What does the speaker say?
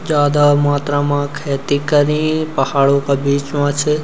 ज्यादा मात्रा मा खैती करीं पहाड़ो का बीच मा छ।